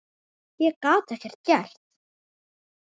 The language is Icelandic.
Ég gat ekkert gert.